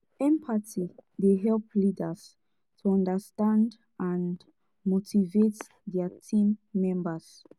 empathy dey help leaders to understand and motivate dia team members.